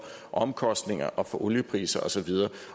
omkostninger og for oliepriser og så videre